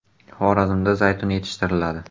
Xorazmda zaytun yetishtiriladi.